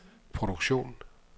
produktion